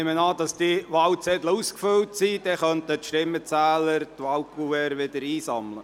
Die Wahlkuverts sind eingesammelt worden.